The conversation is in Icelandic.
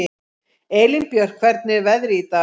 Elínbjört, hvernig er veðrið í dag?